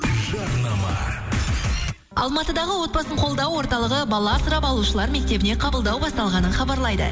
жарнама алматыдағы отбасын қолдау орталығы бала асырап алушылар мектебіне қабылдау басталғанын хабарлайды